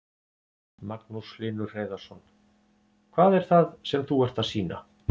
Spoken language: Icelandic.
Magnús Hlynur Hreiðarsson: Hvað er það sem þú ert að sýna?